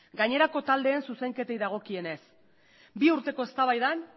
gainerako taldeen zuzenketei dagokienez bi urteko eztabaida